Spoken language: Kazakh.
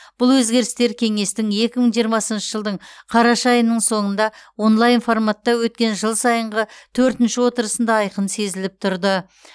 бұл өзгерістер қеңестің екі мың жиырмасыншы жылдың қараша айының соңыңда онлайн форматта өткен жыл сайынғы төртінші отырысында айқын сезіліп тұрды